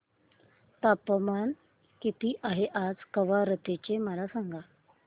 तापमान किती आहे आज कवारत्ती चे मला सांगा